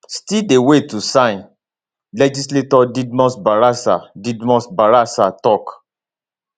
[still dey wait to sign] legislator didmus barasa didmus barasa tok